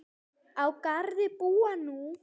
Á Garði búa nú